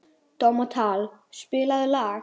Dómald, spilaðu lag.